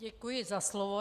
Děkuji za slovo.